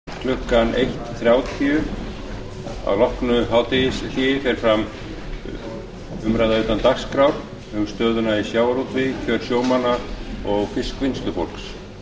um klukkan eitt þrjátíu að loknu hádegishléi fer fram umræða utan dagskrár um stöðuna í sjávarútvegi kjör sjómanna og fiskvinnslufólks